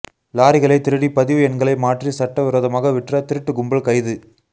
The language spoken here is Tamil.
லாரிகளை திருடி பதிவு எண்களை மாற்றி சட்டவிரோதமாக விற்ற திருட்டு கும்பல் கைது